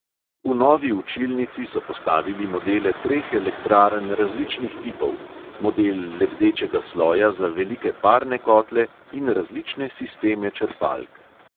V novi učilnici so postavili modele treh elektrarn različnih tipov, model lebdečega sloja za velike parne kotle in različne sisteme črpalk.